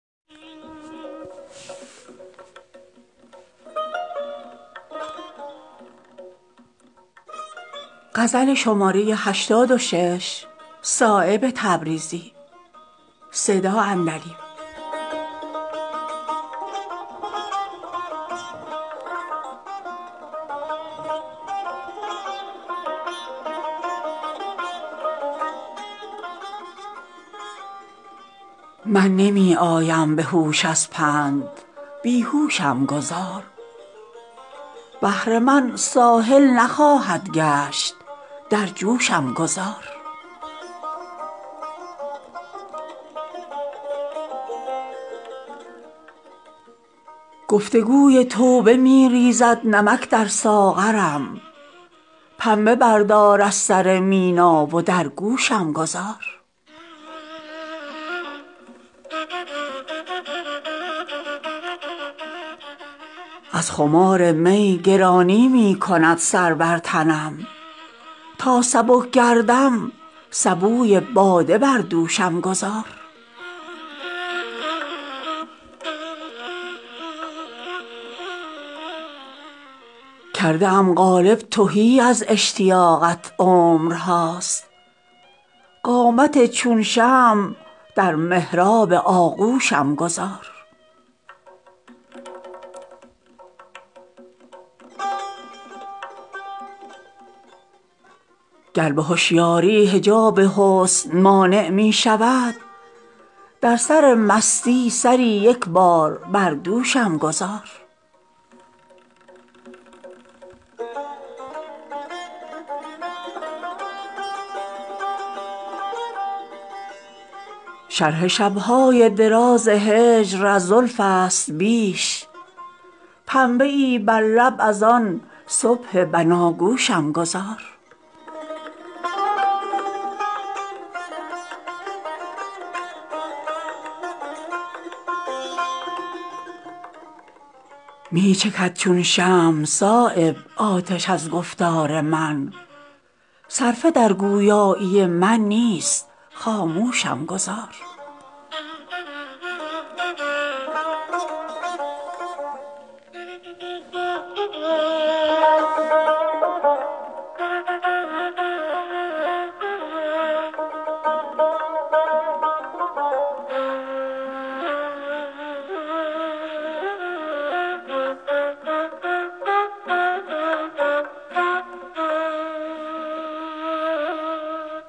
من نمی آیم به هوش از پند بیهوشم گذار بحر من ساحل نخواهد گشت در جوشم گذار گفتگوی توبه می ریزد نمک در ساغرم پنبه بردار از سر مینا و در گوشم گذار از خمار می گرانی می کند سر بر تنم تا سبک گردم سبوی باده بر دوشم گذار کرده ام قالب تهی از اشتیاقت عمرهاست قامت چون شمع در محراب آغوشم گذار گر به هوشیاری حجاب حسن مانع می شود در سرمستی سری یک بار بر دوشم گذار شرح شبهای دراز هجر از زلف است بیش پنبه ای بر لب از آن صبح بنا گوشم گذار می چکد چون شمع صایب آتش از گفتار من صرفه در گویایی من نیست خاموشم گذار